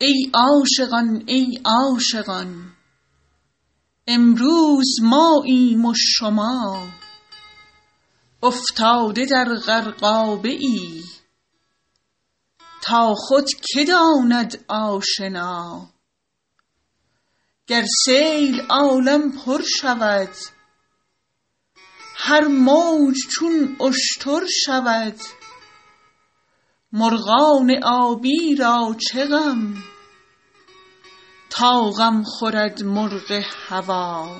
ای عاشقان ای عاشقان امروز ماییم و شما افتاده در غرقابه ای تا خود که داند آشنا گر سیل عالم پر شود هر موج چون اشتر شود مرغان آبی را چه غم تا غم خورد مرغ هوا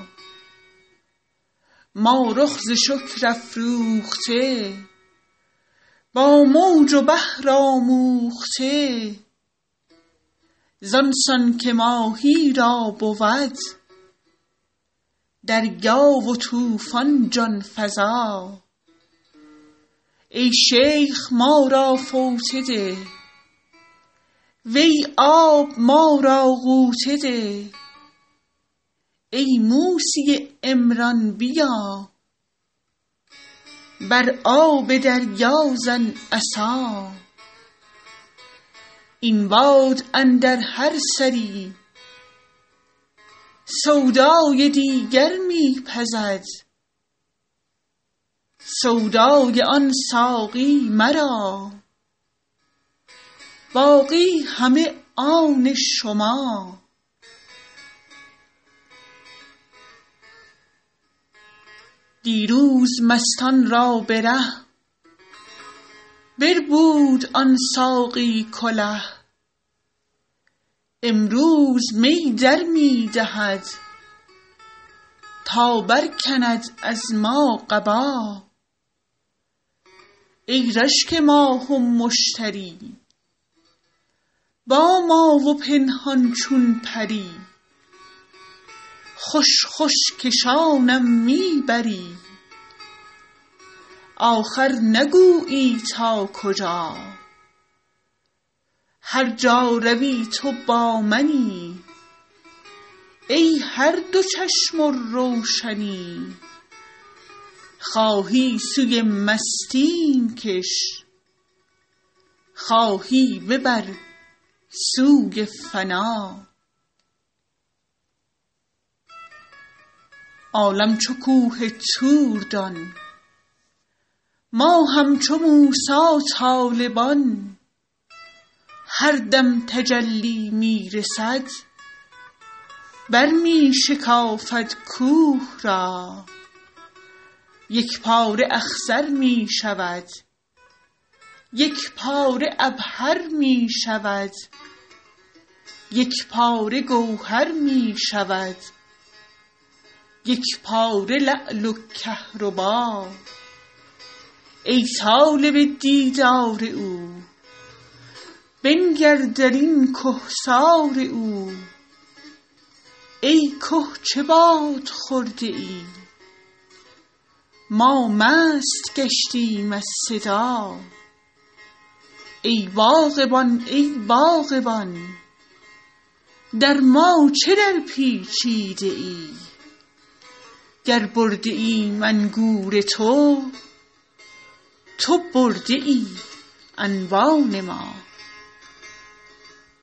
ما رخ ز شکر افروخته با موج و بحر آموخته زان سان که ماهی را بود دریا و طوفان جان فزا ای شیخ ما را فوطه ده وی آب ما را غوطه ده ای موسی عمران بیا بر آب دریا زن عصا این باد اندر هر سری سودای دیگر می پزد سودای آن ساقی مرا باقی همه آن شما دیروز مستان را به ره بربود آن ساقی کله امروز می در می دهد تا برکند از ما قبا ای رشک ماه و مشتری با ما و پنهان چون پری خوش خوش کشانم می بری آخر نگویی تا کجا هر جا روی تو با منی ای هر دو چشم و روشنی خواهی سوی مستیم کش خواهی ببر سوی فنا عالم چو کوه طور دان ما همچو موسی طالبان هر دم تجلی می رسد برمی شکافد کوه را یک پاره اخضر می شود یک پاره عبهر می شود یک پاره گوهر می شود یک پاره لعل و کهربا ای طالب دیدار او بنگر در این کهسار او ای که چه باده خورده ای ما مست گشتیم از صدا ای باغبان ای باغبان در ما چه درپیچیده ای گر برده ایم انگور تو تو برده ای انبان ما